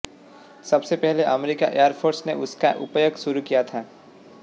सबसे पहले अमेरिकी एयरफोर्स ने उसका उपयोग शुरू किया था